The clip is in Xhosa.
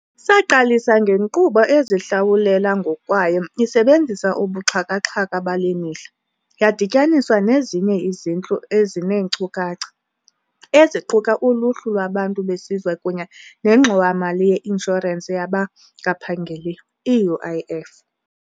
Saqalisa ngenkqubo ezihlawulela ngokwayo isebenzisa ubuxhaka-xhaka bale mihla, yadityaniswa nezinye izintlu ezineenkcukacha, eziquka uLuhlu lwaBantu beSizwe kunye neNgxowa-mali ye-Inshorensi yabaNgaphangeliyo, i-UIF.